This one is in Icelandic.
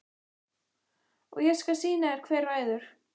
Og ég skal sýna þér hver ræður.